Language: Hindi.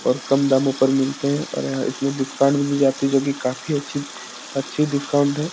और कम दामों पर मिलते हैं और यहाँ इसमें डिस्काउंट भी मिल जाती हैं जो की काफी अच्छी अच्छी डिस्काउंट हैं।